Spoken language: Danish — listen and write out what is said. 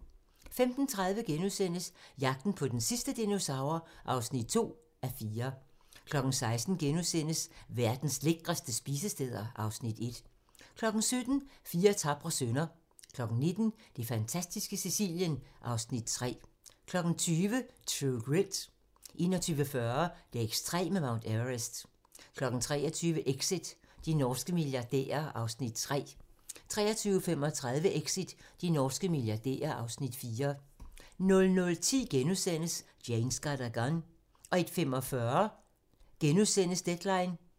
15:30: Jagten på den sidste dinosaur (2:4)* 16:00: Verdens lækreste spisesteder (Afs. 1)* 17:00: Fire tapre sønner 19:00: Det fantastiske Sicilien (Afs. 3) 20:00: True Grit 21:40: Det ekstreme Mount Everest 23:00: Exit - de norske milliardærer (Afs. 3) 23:35: Exit - de norske milliardærer (Afs. 4) 00:10: Jane Got a Gun * 01:45: Deadline *